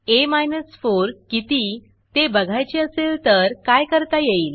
आ 4 किती ते बघायचे असेल तर काय करता येईल